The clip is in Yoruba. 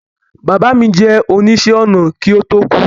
Bàbá mi jẹ́ oníṣẹ̀-ọnà kí ó tó kú